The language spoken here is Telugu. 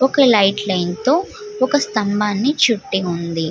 ఒక్క లైట్ లైన్ తో ఒక స్తంభాన్ని చుట్టి ఉంది.